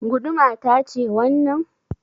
Guduma ta ce wannan?